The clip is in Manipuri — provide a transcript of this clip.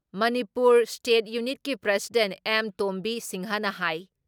ꯃꯅꯤꯄꯨꯔ ꯏꯁꯇꯦꯠ ꯌꯨꯅꯤꯠꯀꯤ ꯄ꯭ꯔꯁꯤꯗꯦꯟ ꯑꯦꯝ. ꯇꯣꯝꯕꯤ ꯁꯤꯡꯍꯅ ꯍꯥꯏ